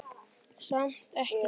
Samt ekki.